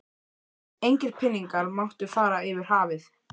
Engir peningar máttu fara yfir hafið.